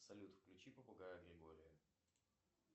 салют включи попугая григория